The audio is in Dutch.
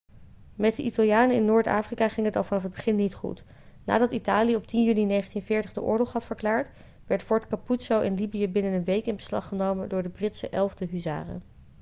met de italianen in noord-afrika ging het al vanaf het begin niet goed nadat italië op 10 juni 1940 de oorlog had verklaard werd fort capuzzo in libië binnen een week in beslag genomen door de britse 11e huzaren